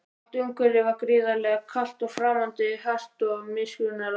Allt umhverfið var gríðarlega kalt og framandi, hart og miskunnarlaust.